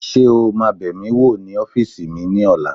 Ṣé o máa bẹ̀ mí wò ní ọ́fìsì mi ní ọ̀la?